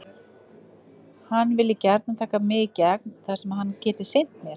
Hann vilji gjarnan taka mig í gegn þar sem hann geti sinnt mér.